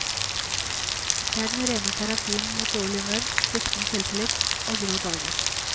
Det er den rene terapi mot dårlig humør, sviktende selvtillit og grå dager.